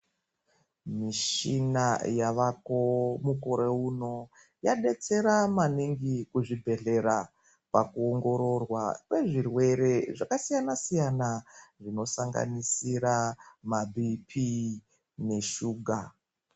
Mushina yavako mukore uno wabetsera maningi kuzvi bhehlera paku ongororwa kwezvirwere zvakasiyana siyana zvino sanganisira mabhi pii neshuga .